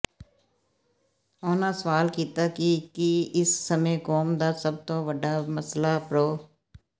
ਉਹਨਾਂ ਸਵਾਲ ਕੀਤਾ ਕਿ ਕੀ ਇਸ ਸਮੇਂ ਕੌਮ ਦਾ ਸਭ ਤੋਂ ਵੱਡਾ ਮਸਲਾ ਪ੍ਰੋ